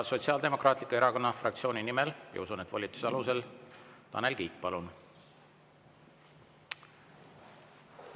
Sotsiaaldemokraatliku Erakonna fraktsiooni nimel ja usun, et volituse alusel, Tanel Kiik, palun!